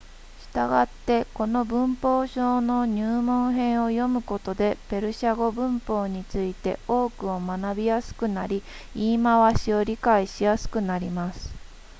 したがってこの文法書の入門編を読むことでペルシャ語文法について多くを学びやすくなり言い回しを理解しやすくなります